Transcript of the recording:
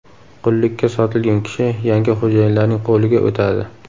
Qullikka sotilgan kishi yangi xo‘jayinlarning qo‘liga o‘tadi.